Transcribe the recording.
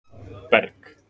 Berg